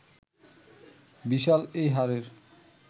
বিশাল এই হাড়ের